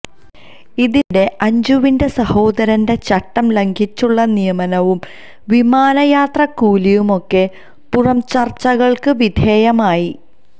ഇതിനിടെ അഞ്ജുവിന്റെ സഹോദരന്റെ ചട്ടം ലംഘിച്ചുള്ള നിയമനവും വിമാനയാത്രാ കൂലിയും ഒക്കെ പുറംചര്ച്ചകള്ക്ക് വിധേയമായി